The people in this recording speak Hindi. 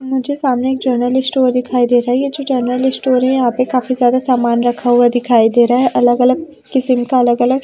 मुझे सामने एक जनरल स्टोर दिखाई दे रहा है ये जो जनरल स्टोर है यहां पे काफी ज्यादा सामान रखा हुआ दिखाई दे रहा है अलग अलग किस्म का अलग अलग--